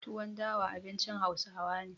Tuwon dawa abincin Hausawa ne.